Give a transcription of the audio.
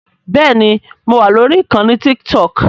Bẹ́ẹ̀ni mo wà lórí ìkànnì Tiktok